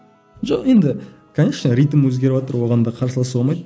жоқ енді конечно ритм өзгеріватыр оған да қарсыласуға болмайды